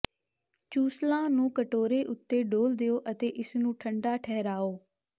ਚੂਸਲਾਂ ਨੂੰ ਕਟੋਰੇ ਉੱਤੇ ਡੋਲ੍ਹ ਦਿਓ ਅਤੇ ਇਸ ਨੂੰ ਠੰਡਾ ਠਹਿਰਾਓ